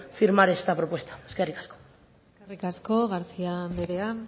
firmar esta propuesta eskerrik asko eskerrik asko garcía andrea